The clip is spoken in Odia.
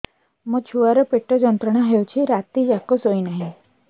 ମୋ ଛୁଆର ପେଟ ଯନ୍ତ୍ରଣା ହେଉଛି ରାତି ଯାକ ଶୋଇନାହିଁ